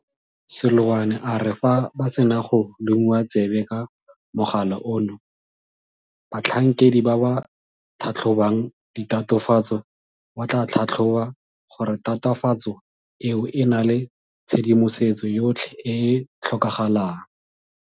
Seloane a re fa ba sena go lomiwa tsebe ka mogala ono, batlhankedi ba ba tlhatlhobang ditatofatso ba tla tlhatlhoba gore tatofatso eo e na le tshedimosetso yotlhe e e tlhokagalang.